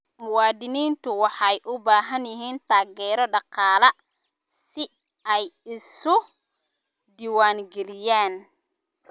Muwaadiniintu waxay u baahan yihiin taageero dhaqaale si ay isu diiwaangeliyaan.